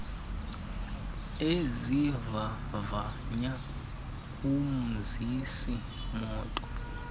ezivavanya umzisi moto